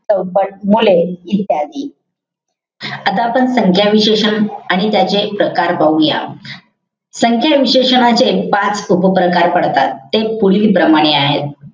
चौपट मुले इत्यादी. आता आपण संख्या विशेषण आणि त्याचे प्रकार पाहूया. संख्या विशेषणाचे पाच उपप्रकार पडतात. ते पुढीलप्रमाणे आहेत.